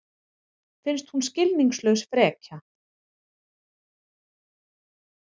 Finnst hún skilningslaus frekja.